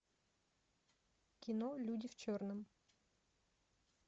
кино люди в черном